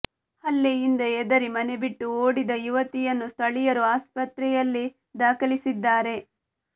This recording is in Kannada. ಹಲ್ಲೆಯಿಂದ ಹೆದರಿ ಮನೆ ಬಿಟ್ಟು ಓಡಿದ ಯುವತಿಯನ್ನು ಸ್ಥಳೀಯರು ಆಸ್ಪತ್ರೆಯಲ್ಲಿ ದಾಖಲಿಸಿದ್ದಾರೆ